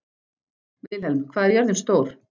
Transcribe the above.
Vilhelm, hvað er jörðin stór?